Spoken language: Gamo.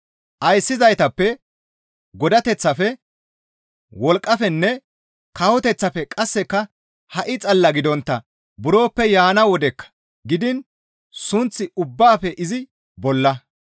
Ayssizaytappe, godateththafe, wolqqafenne kawoteththafe qasseka ha7i xalla gidontta buroppe yaana wodekka gidiin sunth ubbaafe izi bolla.